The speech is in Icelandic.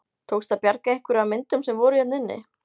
Tókst að bjarga einhverju af myndum sem voru hérna inni?